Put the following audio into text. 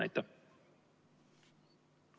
Aitäh!